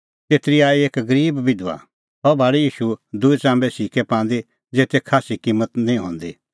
तेतरी आई एक गरीब बिधबा सह भाल़ी ईशू दूई चाम्बे सिक्कै पांदी ज़ेते खास्सी किम्मत निं हंदी